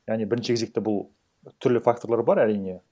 яғни бірінші кезекте бұл түрлі факторлар бар әрине